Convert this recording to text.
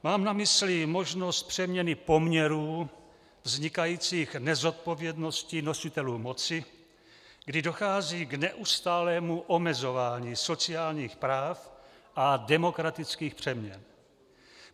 Mám na mysli možnost přeměny poměrů vznikajících nezodpovědností nositelů moci, kdy dochází k neustálému omezování sociálních práv a demokratických přeměn.